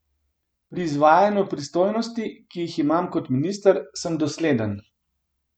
Pri izvajanju pristojnosti, ki jih imam kot minister, sem dosleden.